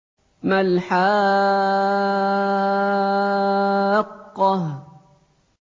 مَا الْحَاقَّةُ